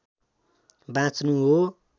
बाँच्नु हो